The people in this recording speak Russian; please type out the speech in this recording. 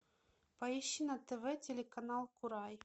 поищи на тв телеканал курай